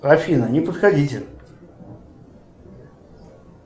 афина не подходите